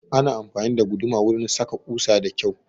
Ana amfani da guduma wurin saka ƙusa da kyau